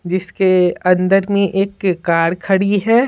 जिसके अंदर में एक कार खड़ी है।